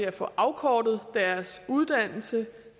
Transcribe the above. at få afkortet deres uddannelse